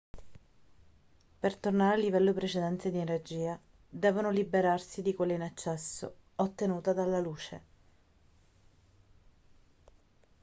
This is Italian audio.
per tornare al livello precedente di energia devono liberarsi di quella in eccesso ottenuta dalla luce